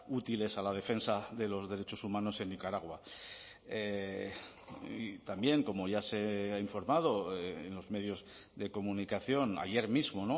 útiles a la defensa de los derechos humanos en nicaragua y también como ya se ha informado en los medios de comunicación ayer mismo